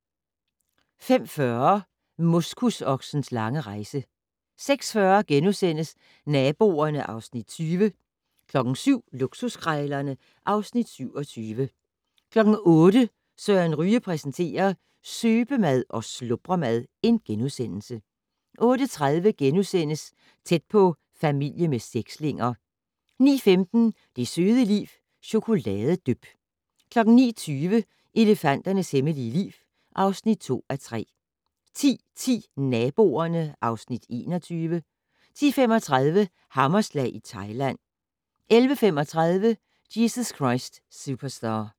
05:40: Moskusoksens lange rejse 06:40: Naboerne (Afs. 20)* 07:00: Luksuskrejlerne (Afs. 27) 08:00: Søren Ryge præsenterer: Søbemad og slubremad * 08:30: Tæt på: Familie med sekslinger * 09:15: Det søde liv - Chokoladedyp 09:20: Elefanternes hemmelige liv (2:3) 10:10: Naboerne (Afs. 21) 10:35: Hammerslag i Thailand 11:35: Jesus Christ Superstar